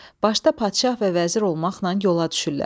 Başda padşah və vəzir olmaqla yola düşürlər.